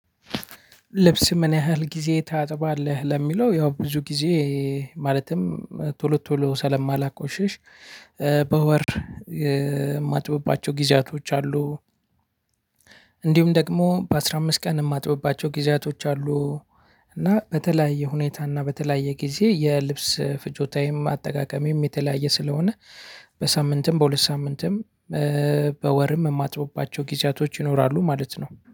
ልብስ ምን ያህል ጊዜ ታጥባለህ? ለሚለው ያው ብዙ ጊዜ ማለትም ቶሎ ቶሎ ስለማላቆሽሽ- በወር የማጥብባቸው ጊዜያቶች አሉ። እንዲሁም ደግሞ በአስራ አምስት ቀን የማጥብባቸው ጊዜያቶች አሉ። እና በተለያየ ሁኔታ እና በተለያየ ጊዜ የልብስ ፍጆታዬም አጠቃቀሜም የተለያየ ስለሆነ- በሳምንትም በሁለት ሳምንትም በወርም የማጥብባቸው ጊዜያቶች ይኖራሉ ማለት ነው።